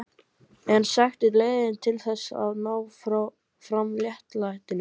En eru sektir leiðin til þess að ná fram réttlætinu?